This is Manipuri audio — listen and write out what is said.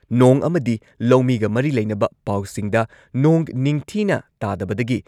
ꯅꯣꯡ ꯑꯃꯗꯤ ꯂꯧꯃꯤꯒ ꯃꯔꯤ ꯂꯩꯅꯕ ꯄꯥꯎꯁꯤꯡꯗ ꯅꯣꯡ ꯅꯤꯡꯊꯤꯅ ꯇꯥꯗꯕꯗꯒꯤ